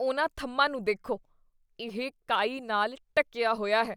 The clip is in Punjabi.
ਉਨ੍ਹਾਂ ਥੰਮ੍ਹਾਂ ਨੂੰ ਦੇਖੋ। ਇਹ ਕਾਈ ਨਾਲ ਢੱਕੀਆ ਹੋਇਆ ਹੈ।